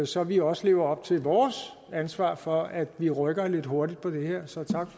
så vi også lever op til vores ansvar for at vi rykker lidt hurtigt på det her så tak